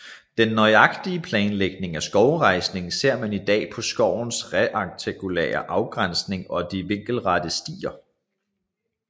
Den nøje planlægning af skovrejsningen ser man i dag på skovens rektangulære afgrænsning og de vinkelrette stier